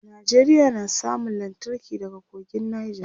Nigeria na samun lantarki daga kogin nija